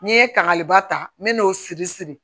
N'i ye kangariba ta n bɛ n'o siri siri